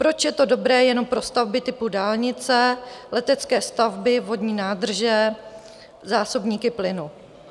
Proč je to dobré jenom pro stavby typu dálnice, letecké stavby, vodní nádrže, zásobníky plynu?